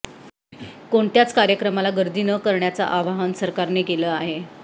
कोणत्याचं कार्यक्रमाला गर्दी न करण्याचं आवाहन सरकारने केलं आहे